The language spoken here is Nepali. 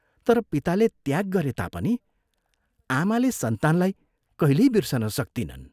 तर पिताले त्याग गरे तापनि आमाले सन्तानलाई कहिल्यै बिर्सन सक्तिनन्।